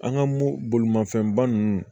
An ka mo bolimafɛnba ninnu